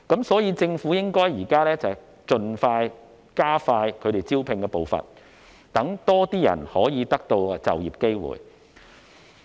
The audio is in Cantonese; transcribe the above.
所以，政府現在應該加快招聘的步伐，讓更多人可以得到就業機會。